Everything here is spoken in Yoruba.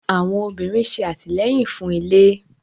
Àwọn obìnrin ṣe atilẹyin fún ilé